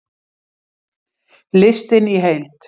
Listinn í heild